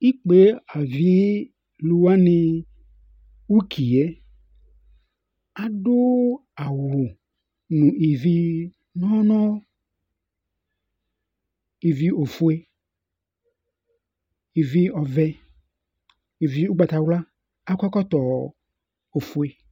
ikpe avi lò wani uki yɛ adu awu no ivi li no ivi ofue ivi ɔvɛ ivi ugbata wla k'akɔ ɛkɔtɔ ofue